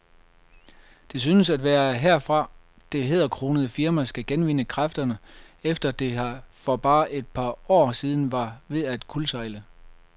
Det synes også at være herfra, det hæderkronede firma skal genvinde kræfterne, efter at det for bare et par år siden var ved at kuldsejle.